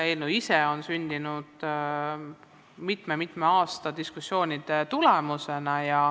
Eelnõu ise on sündinud mitme-mitme aasta diskussioonide tulemusena.